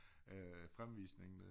Øh fremvisningen der